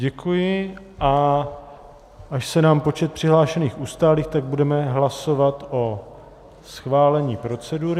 Děkuji, a až se nám počet přihlášených ustálí, tak budeme hlasovat o schválení procedury...